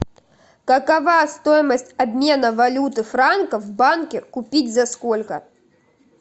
какова стоимость обмена валюты франков в банке купить за сколько